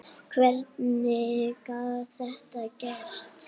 Hvernig gat þetta gerst?